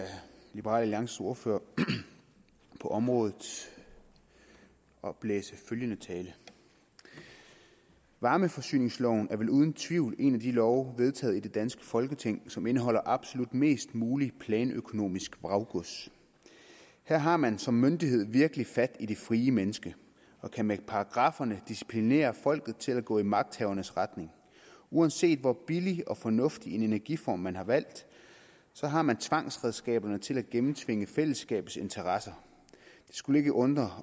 liberal alliances ordfører på området oplæse følgende tale varmeforsyningsloven er vel uden tvivl en af de love vedtaget i det danske folketing som indeholder absolut mest muligt planøkonomisk vraggods her har man som myndighed virkelig fat i det frie mennesker og kan med paragrafferne disciplinere folket til at gå i magthavernes retning uanset hvor billig og fornuftig en energiform man har valgt har man tvangsredskaberne til at gennemtvinge fællesskabets interesser det skulle ikke undre